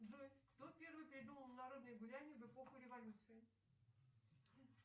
джой кто первый придумал народные гуляния в эпоху революции